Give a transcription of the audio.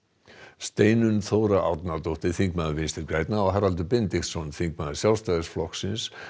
Steinunn Þóra Árnadóttir þingmaður Vinstri grænna og Haraldur Benediktsson þingmaður Sjálfstæðisflokks